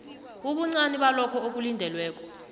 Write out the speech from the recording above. ubuncani balokho okulindelweko